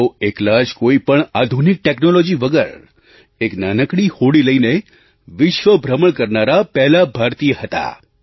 તેઓ એકલા જ કોઈ પણ આધુનિક ટૅક્નૉલૉજી વગર એક નાનકડી હોડી લઈને વિશ્વ ભ્રમણ કરનારા પહેલા ભારતીય હતા